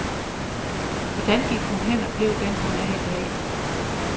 Hvordan gik hun hen og blev den, hun er i dag?